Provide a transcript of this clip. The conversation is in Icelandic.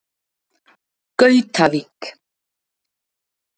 Gautavík